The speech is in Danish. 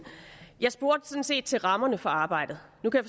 jeg spurgte sådan set til rammerne for arbejdet nu kan